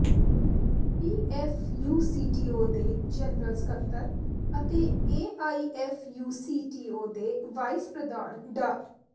PFUCTO ਦੇ general ਸਕੱਤਰ ਅਤੇ ਏਆਈਐਫਯੂਸੀਟੀਓ ਦੇ ਵਾਈਸ ਪ੍ਰਧਾਨ ਡਾ